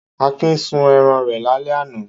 Akin sin ẹran rẹ̀ lálẹ́ àná.